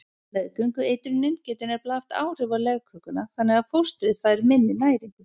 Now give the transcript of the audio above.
Meðgöngueitrunin getur nefnilega haft áhrif á legkökuna þannig að fóstrið fær minni næringu.